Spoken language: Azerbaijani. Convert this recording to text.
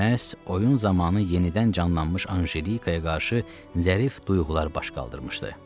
Məhz oyun zamanı yenidən canlanmış Anjelikaya qarşı zərif duyğular baş qaldırmışdı.